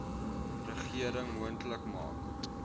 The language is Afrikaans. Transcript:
regering moontlik maak